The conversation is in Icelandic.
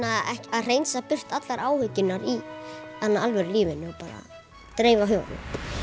að hreinsa burt allar áhyggjurnar í alvöru lífinu bara dreifa huganum